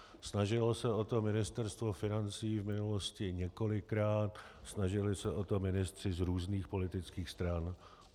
Snažilo se o to Ministerstvo financí v minulosti několikrát, snažili se o to ministři z různých politických stran.